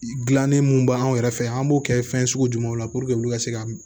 Gilanni mun b'anw yɛrɛ fɛ yan an b'o kɛ fɛn sugu jumɛnw la olu ka se ka